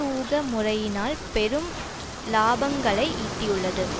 ஊக முறையினால் பெரும் இலாபங்களை ஈட்டியுள்ளது